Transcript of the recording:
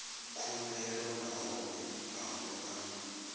khumbelo nahone a hu nga